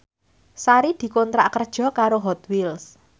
Sari dikontrak kerja karo Hot Wheels